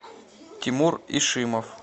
тимур ишимов